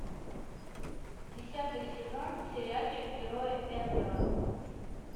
десятый сезон сериальчик герои энвелла